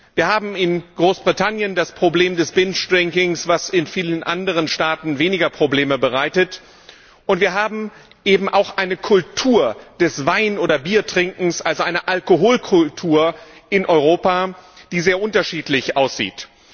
Wir haben in Großbritannien das Problem des Binge Drinkings, was in vielen anderen Staaten weniger Probleme bereitet, und wir haben eben auch eine Kultur des Wein oder Biertrinkens, also eine Alkoholkultur in Europa, die sehr unterschiedlich aussieht.